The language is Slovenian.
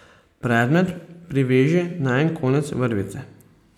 Predmet priveži na en konec vrvice.